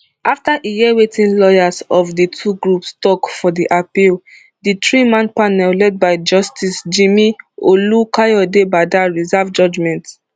afta e hear wetin lawyers of di two groups tok for di appeal di threeman panel led by justice jimi olukayodebada reserve judgment